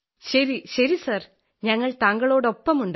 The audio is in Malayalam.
ശരി ശരി സർ ഞങ്ങൾ താങ്കളോടൊപ്പമുണ്ട്